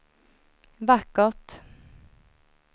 vackert